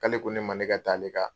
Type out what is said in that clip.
K'ale ko ne ma ne ka taa ale ka